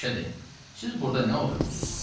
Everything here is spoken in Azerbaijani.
Məşədi: "Siz burda nə oturmusunuz?"